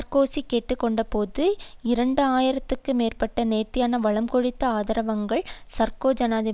இரண்டு ஆயிரத்துக்கும் மேற்பட்ட நேர்த்தியான வளம் கொழித்த ஆதரவாளர்கள் சார்கோ ஜனாதிபதி என்று முழங்கினர்